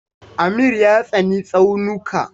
Amir ya tsani tsaunuka.